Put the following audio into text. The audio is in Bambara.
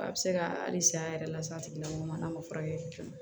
A bɛ se ka hali san yɛrɛ lase a tigi lamɔgɔ ma n'a ma furakɛ